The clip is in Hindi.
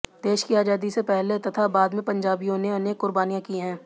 देश की आजादी से पहले तथा बाद में पंजाबियों ने अनेक कुर्बानियां की है